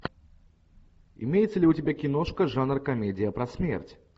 имеется ли у тебя киношка жанр комедия про смерть